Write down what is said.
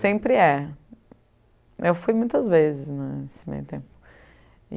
Sempre é. Eu fui muitas vezes nesse meio tempo.